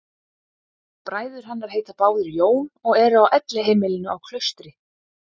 Bræður hennar heita báðir Jón og eru á elliheimilinu á Klaustri.